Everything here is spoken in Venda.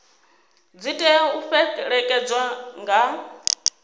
dzi tea u fhelekedzwa nga